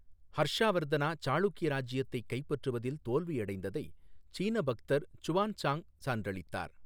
ஹர்ஷா வர்தனா சாளுக்கிய ராஜ்ஜியத்தைக் கைப்பற்றுவதில் தோல்வியடைந்ததை சீன பக்தர் சுவான்சாங் சான்றளித்தார்.